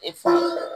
E fa